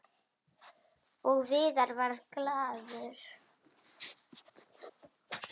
Og Viðar varð glaður.